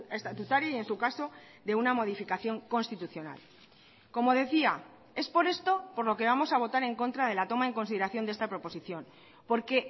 estatutaria y en su caso de una modificación constitucional como decía es por esto por lo que vamos a votar en contra de la toma en consideración de esta proposición porque